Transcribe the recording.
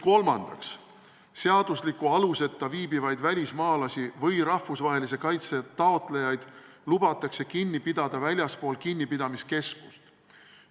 Kolmandaks, seadusliku aluseta Eestis viibivaid välismaalasi või rahvusvahelise kaitse taotlejaid lubatakse kinni pidada väljaspool kinnipidamiskeskust.